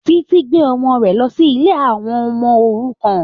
Títí gbé ọmọ rẹ̀ lọ sí ilé àwọ ọmọ-òrukàn.